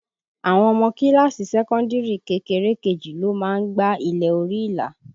Àwọn ọmọ kíláàsì sẹ́kọ́ndìrì kékeré kejì ló má ń gba ilẹ̀ orí ìlà